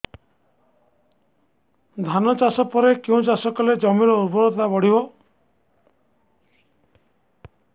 ଧାନ ଚାଷ ପରେ କେଉଁ ଚାଷ କଲେ ଜମିର ଉର୍ବରତା ବଢିବ